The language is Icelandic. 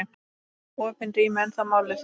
Eru opin rými ennþá málið?